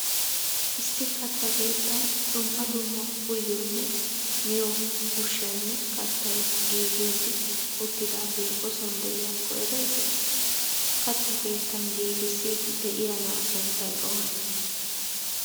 Issi katta keettan duummaa duummaa uyyiyonne miyyiyo ushshaynne kattay giggiddi uttidagee ooson de'iyakko ereeti? Kattaa keettan giggissiydi de'iya naa'a sunttay oone?